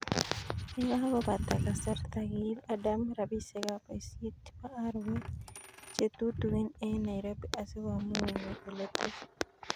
Yekakobata kasarta, kiib Adam rabisiek ab boisiet chebo arawet chetutugin eng' Nairobi asi komuch konyor oletepen.